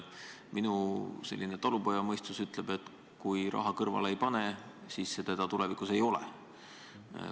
Minu talupojamõistus ütleb, et kui raha kõrvale ei pane, siis seda tulevikus ei ole.